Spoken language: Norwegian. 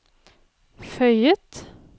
føyet